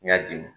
N y'a di